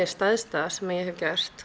stærsta sem ég hef gert